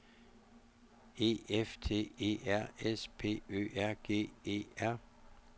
E F T E R S P Ø R G E R